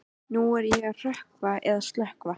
Nú er að hrökkva eða stökkva.